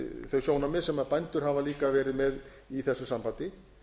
þau sjónarmið sem bændur hafa verið með í þessu sambandi